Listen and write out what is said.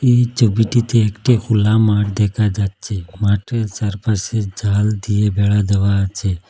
এই চবিটিতে একটি হোলা মাট দেখা যাচ্চে মাঠের চারপাশে জাল দিয়ে বেড়া দেওয়া আছে।